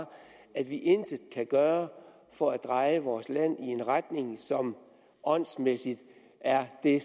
at vi intet kan gøre for at dreje vores land i en retning som åndsmæssigt er det